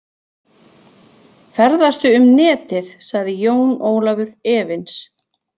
Ferðastu um Netið sagði Jón Ólafur efins